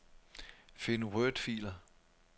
Find wordfiler.